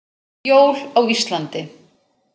Jól á Íslandi.